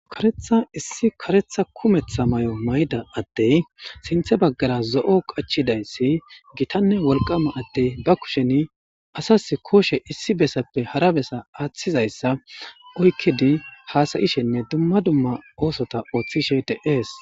Karetha issi karetha kumetha may7o mayda adtey sinthe baggara zo7o qachidayssi gitanne wolqama addey ba kusheni asas kooshe issi bessappe hara besa aaththizayssa uykkidi haasayishenne dumma dumma oosota ooththishe de7ees.